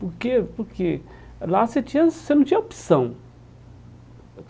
Porque porque lá você tinha você não tinha opção.